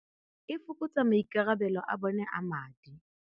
E fokotsa maikarabelo a bone a madi.